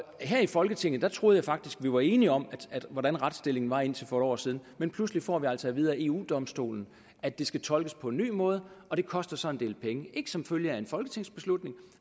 her i folketinget troede jeg faktisk vi var enige om hvordan retsstillingen var indtil for et år siden men pludselig får vi altså at vide af eu domstolen at det skal tolkes på en ny måde og det koster så en del penge ikke som følge af en folketingsbeslutning